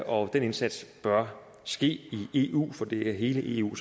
og den indsats bør ske i eu for det er i hele eu